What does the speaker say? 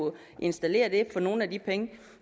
installeres for nogle af de penge